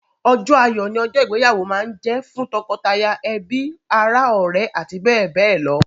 Ọjọ́ ayọ̀ ni ọjọ́ ìgbéyàwó máa ń jẹ fún tọkọtaya, ẹbi, ara, ọ̀rẹ́, àti bẹ́ẹ̀ bẹ́ẹ̀ lọ.